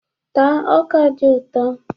Taa ọ́kà dị ụtọ!